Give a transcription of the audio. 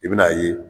I bɛn'a ye